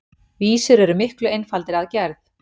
Vísur eru miklu einfaldari að gerð.